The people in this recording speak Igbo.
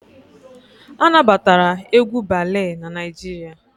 A na batara egwu balee n'Naijiria